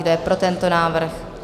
Kdo je pro tento návrh?